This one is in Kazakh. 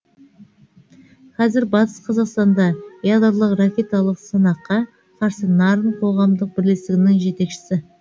қазір батыс қазақстанда ядролық ракеталық сынаққа қарсы нарын қоғамдық бірлестігінің жетекшісі